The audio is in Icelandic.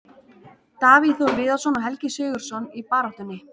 Davíð Þór Viðarsson og Helgi SIgurðsson í baráttunni.